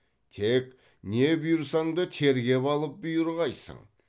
тек не бұйырсаң да тергеп алып бұйырғайсың